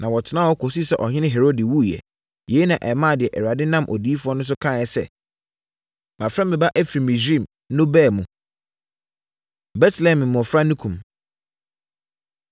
na wɔtenaa hɔ kɔsii sɛ Ɔhene Herode wuiɛ. Yei na ɛmaa deɛ Awurade nam odiyifoɔ no so kaeɛ sɛ, “Mafrɛ me Ba afiri Misraim” no baa mu. Betlehem Mmɔfra No Kum